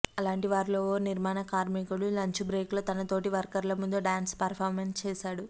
అలాంటి వారిలో ఓ నిర్మాణ కార్మికుడు లంచ్ బ్రేక్లో తన తోటి వర్కర్ల ముందు డ్యాన్స్ పర్ఫార్మెన్స్ చేశాడు